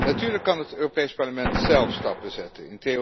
Natuurlijk kan het Europees Parlement zelf stappen zetten.